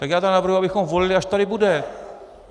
Tak já tedy navrhuji, abychom volili, až tady bude.